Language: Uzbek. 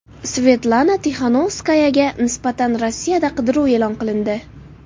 Svetlana Tixanovskayaga nisbatan Rossiyada qidiruv e’lon qilindi.